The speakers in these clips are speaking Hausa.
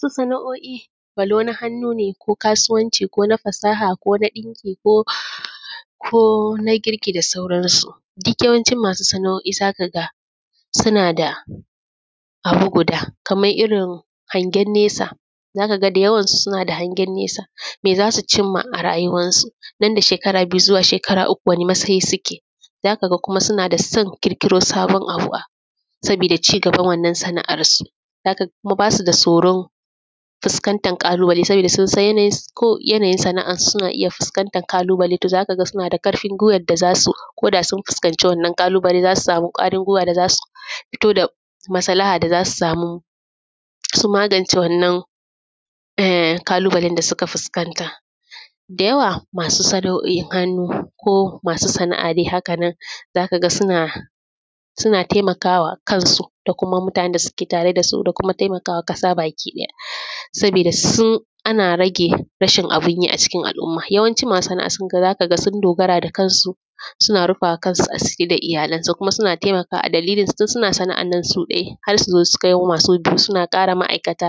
Su sana’o’i walau na hannu ne ko kasuwanci ko na fasaha ko na ɗinki ko; ko na girki da sauransu. Dik yawancin masu sana’o’i za ka ga suna da abu guda, kamar irin hangen nesa. Za ka ga da yawansu suna da hangen nesa, me za su cim ma a yaruwansu, nan da shekara biyu zuwa shekara uku, wane masayi suke. Za ka ga kuma suna da son kirkiro sabon abu, sabida ci gaban wannan sana’arsu. Za ka ga kuma ba su da soron fuskantan ƙalubale sabida sun san yanayin; ko yanayin sana’ansu, suna iya fuskantan kalubale. To, za ka ga suna da karfin gwiwar da za su ko da sun fuskanci wannan kalubale, za su samu ƙwarin gwiwa da za su fito da masalaha da za su samu, su magance wannan eh; kalubalen da suka fuskanta. Da yawa, masu sana’o’in hannu, ko masu sana’a de haka nan, da ka ga suna; suna temaka wa kansu da kuma mutanen da suke tare da su, da kuma temaka wa kasa bakiɗaya. Sabida, sin; ana rage rashin abin yi a cikin al’umma, yawancin masu sana’a sun ga; za ka ga sun dogara da kansu, suna rufa wa kansu asiri da iyalansu. Kuma, suna temaka wa a dalilinsu, tun suna sana’an nan su ɗai, har su zo su kawo masu -, suna ƙara ma’aikata.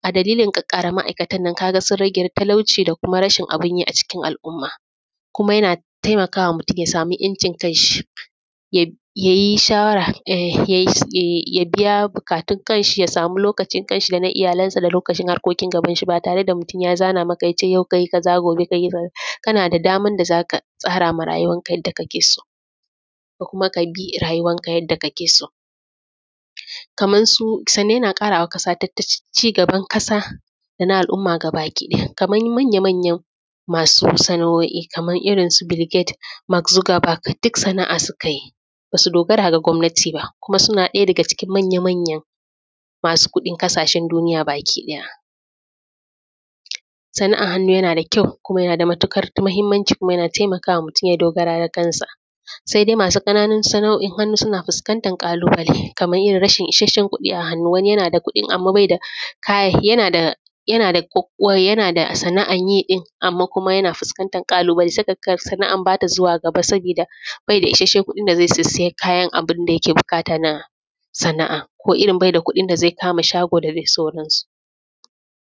A dalilin ƙaƙƙara ma’aikatan nan, ka ga sun rage talauci da kuma rashin abin yi a cikin al’umma. Kuma, yana taimaka wa mutun ya samu ‘yancin kanshi, yab; ya yi shawara, ah; ya yi s; yai; ya biya bukatun kanshi, ya samu lokacin kanshi da na iyalansa, da lokacin harkokin gabanshi. Ba tare da mutun ya zana maka, ya ce ka yi kaza, gobe ka yi kaza. Kana da daman da za ka tsara ma rayuwanka yadda kake so, da kuma ka bi rayuwanka yadda kake so. Kamar su, sannan yana ƙara wa ƙasa tattacin; cigaban kasa da na al’umma gabakiɗaya. Kaman manya-manyan masu sana’o’i, makan irin su Bill Gate, Mack Zugabag, dik sana’a suka yi, ba su dogara da gwamnati ba. Kuma, suna ɗaya daga cikin manya-manyan masu kuɗin kasashen duniya bakiɗaya. Sana’an hannu yana da kyau, kuma yana da matukar mahimmanci, kuma yana temaka wa mutun ya dogara da kansa. Sai dai, masu ƙananun sana’o’in hannu, suna fuskantan ƙalubale, kamay yin rashin isashen kuɗi a hannu. Wani, yana da kuɗin, amma bai da kaya, yana da; yana da kok; wai, yana da sana’an yi ɗin, amma kuma yana fuskantan ƙalubale saboda sana’an ba ta zuwa gaba, sabida bai da isasshen kuɗin da zai sisiya kayan abin da yake bikata na sana’a. Ko irin bai da kuɗin da zai kama shago da dai sauransu.